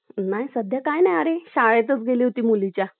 नाही सध्या काही नाही आरे , शाळेतच गेले होते मुलीच्या .